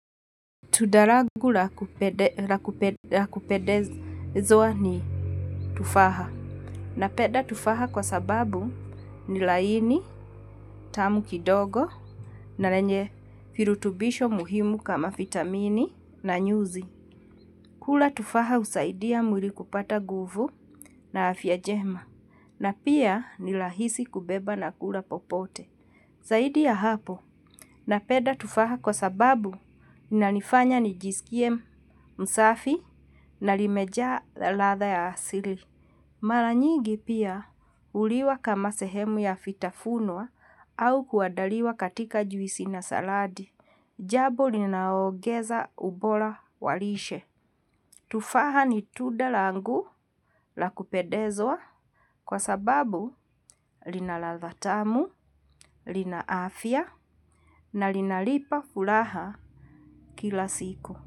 Tuda lagu la kupedezoa ni tufaha. Napeda tufaha kwa sababu ni laini tamu kidogo na lenye firutubisho muhimu kama fitamini na nyuzi. Kula tufaha husaidia mwili kupata guvu na afya jema. Na pia ni lahisi kubeba na kula popote. Zaidi ya hapo napeda tufaha kwa sababu inanifanya nijisikiebmsafi na limeja latha ya asili. Mara nyigi pia uliwa kama sehemu ya fitafunwa au kuadaliwa katika juisi na saladi. Jabo linaogeza ubola wa lishe. Tufaha ni tuda langu la kupedezwa kwa sababu lina ladha tamu, lina afia na linalipa ulaha kila siku.